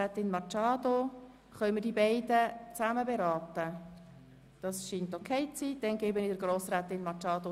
Sie schreibt, es gehe ihr relativ gut, aber es sei noch nicht klar, wann sie wiederkommen kann.